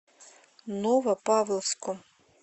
новопавловску